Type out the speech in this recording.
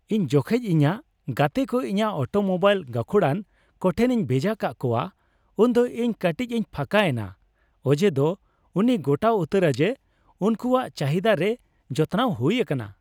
ᱤᱧ ᱡᱚᱠᱷᱚᱱ ᱤᱧᱟᱹᱜ ᱜᱟᱛᱮ ᱠᱚ ᱤᱧᱟᱹᱜ ᱚᱴᱳᱢᱳᱵᱟᱭᱤᱞ ᱜᱟᱹᱠᱷᱩᱲᱟᱱ ᱠᱚᱴᱷᱮᱱᱤᱧ ᱵᱷᱮᱡᱟ ᱠᱟᱜ ᱠᱚᱣᱟ ᱩᱱᱫᱚ ᱤᱧ ᱠᱟᱹᱴᱤᱪ ᱤᱧ ᱯᱷᱟᱸᱠᱟ ᱮᱱᱟ ᱚᱡᱮᱫᱚ ᱩᱱᱤᱭ ᱜᱚᱴᱟ ᱩᱛᱟᱹᱨᱟ ᱡᱮ ᱩᱱᱠᱩᱣᱟᱜ ᱪᱟᱹᱦᱤᱫᱟ ᱨᱮ ᱡᱚᱛᱱᱟᱣ ᱦᱩᱭ ᱟᱠᱟᱱᱟ ᱾